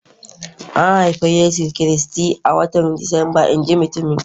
An haifi Yesu Kiristi a watan Disamba, in ji mutumin